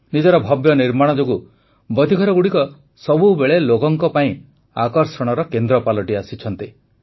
ନିଜର ଭବ୍ୟ ନିର୍ମାଣ ଯୋଗୁଁ ବତୀଘରଗୁଡ଼ିକ ସବୁବେଳେ ଲୋକଙ୍କ ପାଇଁ ଆକର୍ଷଣର କେନ୍ଦ୍ର ପାଲଟିଆସିଛନ୍ତି